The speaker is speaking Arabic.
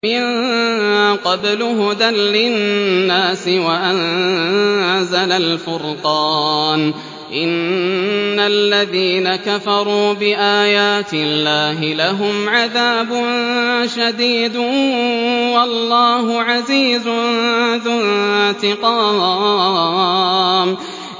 مِن قَبْلُ هُدًى لِّلنَّاسِ وَأَنزَلَ الْفُرْقَانَ ۗ إِنَّ الَّذِينَ كَفَرُوا بِآيَاتِ اللَّهِ لَهُمْ عَذَابٌ شَدِيدٌ ۗ وَاللَّهُ عَزِيزٌ ذُو انتِقَامٍ